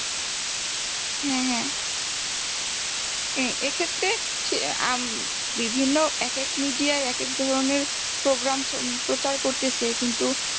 হ্যাঁ হ্যাঁ হ্যাঁ এক্ষেত্রে ~বিভিন্ন এক এক media এক এক ধরনের program প্রচার করতেছে কিন্তু